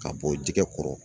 Ka bɔ jɛgɛ kɔrɔ.